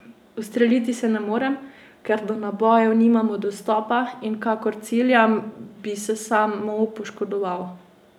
Ustreliti se ne morem, ker do nabojev nimamo dostopa in kakor ciljam, bi se samo poškodoval.